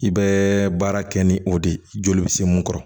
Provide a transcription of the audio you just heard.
I bɛ baara kɛ ni o de ye joli bɛ se mun kɔrɔ